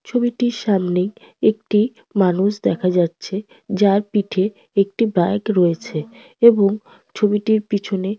ছবিটির সামনে একটি মানুষ দেখা যাচ্ছে যার পিঠে একটি ব্যাগ রয়েছে এবং ছবিটির পিছনে --